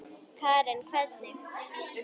Karen: Hvernig?